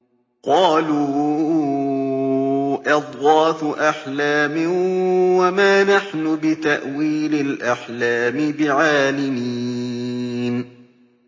قَالُوا أَضْغَاثُ أَحْلَامٍ ۖ وَمَا نَحْنُ بِتَأْوِيلِ الْأَحْلَامِ بِعَالِمِينَ